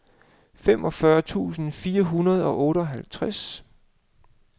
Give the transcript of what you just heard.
femogfyrre tusind fire hundrede og otteoghalvtreds